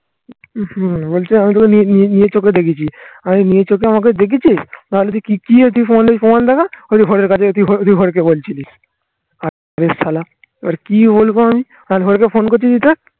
বলছে আমি তোকে নিয়ে চোখে দেখেছি আমাকে দেখেছিস? নাহলে তুই কি এটি প্রমাণ দেখা? ওই যে ঘরের কাছে তুই ঘরেরকে বলছিলি. এবার কি বলবো আমি?